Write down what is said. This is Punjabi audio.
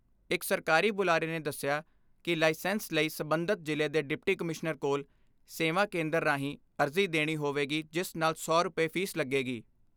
ਇਕ ਸਰਕਾਰੀ ਬੁਲਾਰੇ ਨੇ ਦਸਿਆ ਕਿ ਲਾਇਸੈਂਸ ਲਈ ਸਬੰਧਤ ਜ਼ਿਲ੍ਹੇ ਦੇ ਡਿਪਟੀ ਕਮਿਸ਼ਨਰ ਕੋਲ, ਸੇਵਾ ਕੇਂਦਰ ਰਾਹੀਂ ਅਰਜੀ ਦੇਣੀ ਹੋਵੇਗੀ ਜਿਸ ਨਾਲ ਸੌ ਰੁਪਏ ਫੀਸ ਲੱਗੇਗੀ।